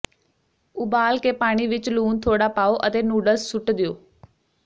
ਉਬਾਲ ਕੇ ਪਾਣੀ ਵਿਚ ਲੂਣ ਥੋੜਾ ਪਾਓ ਅਤੇ ਨੂਡਲਸ ਸੁੱਟ ਦਿਓ